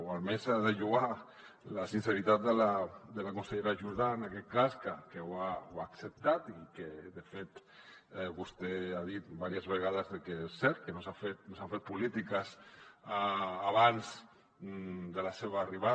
o almenys s’ha de lloar la sinceritat de la consellera jordà en aquest cas que ho ha acceptat i que de fet vostè ha dit diverses vegades que és cert que no s’han fet polítiques abans de la seva arribada